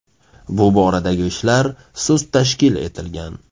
Bu boradagi ishlar sust tashkil etilgan.